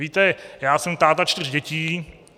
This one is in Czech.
Víte, já jsem táta čtyř dětí.